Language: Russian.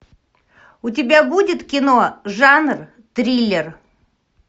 у тебя будет кино жанр триллер